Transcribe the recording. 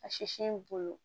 A sisi bolo